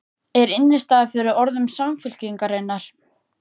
Er innistæða fyrir orðum Samfylkingarinnar?